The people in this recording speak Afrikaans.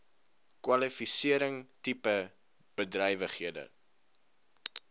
kwalifisering tipe bedrywighede